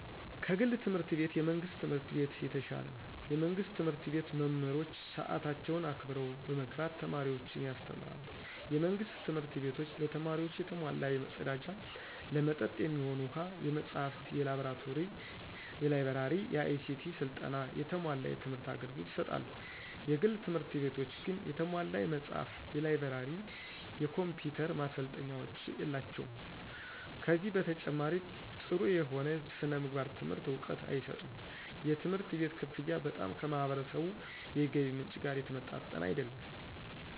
ከግል ትምህርት ቤት የመንግስት ትምህርት ቤት የተሻለ ነው። የመንግስት ትምህርት ቤት መምህሮች ሰአታቸውን አክብረው በመግባት ተማሪዎችን ያስተምራሉ። የመንግስት ትምህርት ቤቶች ለተማሪዎቹ የተሟላ የመፀዳጃ፣ ለመጠጥ የሚሆኑ ውሃ፣ የመፅሃፍ፣ የላይ ብረሪ፣ የአይሲቲ ስልጠና፣ የተሟላ የትምህር አገልግሎት ይሰጣሉ። የግል ትምህርት ቤቶች ግን የተሟላ የመጽሐፍ፣ የላይብረሪ፣ የኮምፒውተር ማሰልጠኛዎች የላቸውም። ከዚህ በተጨማሪ ጠሩ የሆነ የስነምግባር ትምህርት እውቀት አይሰጡም። የትምህርት ቤት ከፍያ በጣም ከህብረተሰቡ የገቢ ምንጭ ጋር የተመጣጠነ አይደለም።